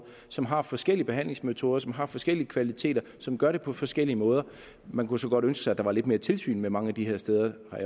som har forskellige behandlingsmetoder som har forskellige kvaliteter og som gør det på forskellige måder man kunne så godt ønske sig at der var lidt mere tilsyn med mange af de her steder jeg